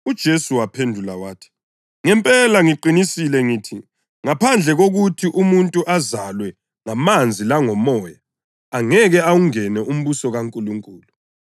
UJesu waphendula wathi, “Ngempela ngiqinisile ngithi, ngaphandle kokuthi umuntu azalwe ngamanzi langoMoya, angeke awungene umbuso kaNkulunkulu.